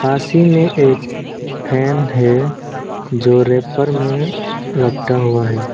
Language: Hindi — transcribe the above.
पास ही में एक फैन है जो रैपर में लपटा हुआ है।